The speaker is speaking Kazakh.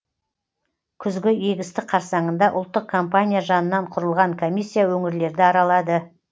күзгі егістік қарсаңында ұлттық компания жанынан құрылған комиссия өңірлерді аралады